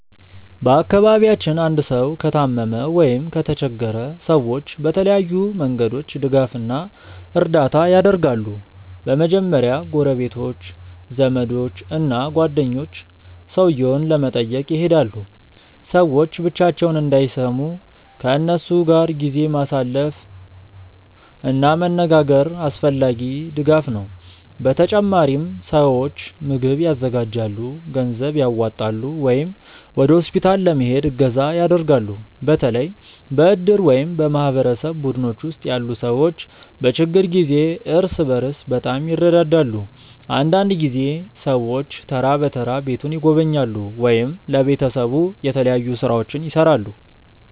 በአካባቢያችን አንድ ሰው ከታመመ ወይም ከተቸገረ ሰዎች በተለያዩ መንገዶች ድጋፍ እና እርዳታ ያደርጋሉ። በመጀመሪያ ጎረቤቶች፣ ዘመዶች እና ጓደኞች ሰውየውን ለመጠየቅ ይሄዳሉ። ሰዎች ብቻቸውን እንዳይሰሙ ከእነሱ ጋር ጊዜ ማሳለፍ እና መነጋገር አስፈላጊ ድጋፍ ነው። በተጨማሪም ሰዎች ምግብ ያዘጋጃሉ፣ ገንዘብ ያዋጣሉ ወይም ወደ ሆስፒታል ለመሄድ እገዛ ያደርጋሉ። በተለይ በእድር ወይም በማህበረሰብ ቡድኖች ውስጥ ያሉ ሰዎች በችግር ጊዜ እርስ በርስ በጣም ይረዳዳሉ። አንዳንድ ጊዜ ሰዎች ተራ በተራ ቤቱን ይጎበኛሉ ወይም ለቤተሰቡ የተለያዩ ሥራዎችን ይሠራሉ።